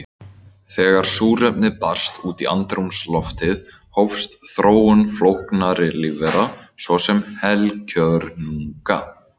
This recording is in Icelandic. Þegar súrefni barst út í andrúmsloftið hófst þróun flóknari lífvera, svo sem heilkjörnunga.